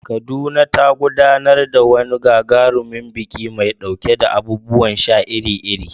Kaduna ta gudanar da wani gagarumin biki mai ɗauke da abubuwan sha iri-iri.